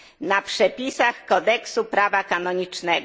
na przepisach kodeksu prawa kanonicznego.